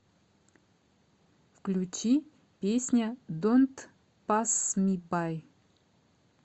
включи песня донт пасс ми бай